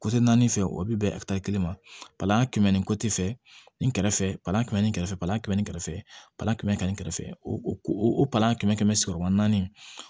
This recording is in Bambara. naani fɛ o bi bɛn kelen ma palan kɛmɛ ni fɛ nin kɛrɛfɛ balan kɛmɛ kɛrɛfɛ palan kɛmɛ kɛmɛ ni kɛrɛfɛ palan kɛmɛ kɛmɛ ni kɛrɛfɛ o o o palan kɛmɛ kɛmɛ sigi ma naani